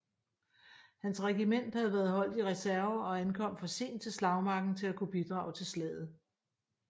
Hans regiment havde været holdt i reserve og ankom for sent til slagmarken til at kunne bidrage til slaget